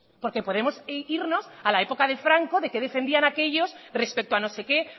porque podemos irnos a la época de franco de que defendían aquellos respecto a no sé qué